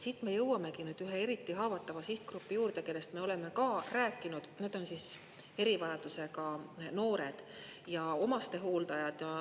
Siit me jõuamegi ühe eriti haavata sihtgrupi juurde, kellest me oleme ka rääkinud, nad on erivajadusega noored ja omastehooldajad.